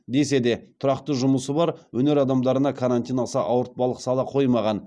десе де тұрақты жұмысы бар өнер адамдарына карантин аса ауыртпалық сала қоймаған